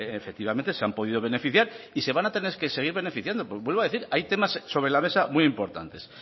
efectivamente se han podido beneficiar y se van a tener que seguir beneficiando porque vuelvo a decir hay temas sobre la mesa muy importantes